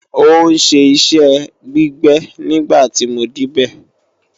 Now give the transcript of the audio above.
Ó ń ṣe iṣẹ́ gbígbẹ nígbà tí mo débẹ̀